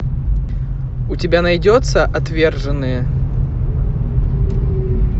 у тебя найдется отверженные